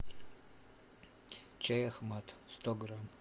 чай ахмад сто грамм